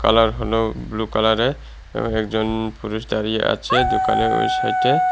Colour হলো blue কালারের এবং একজন পুলিশ দাঁড়িয়ে আছে দোকানের ওই সাইটে ।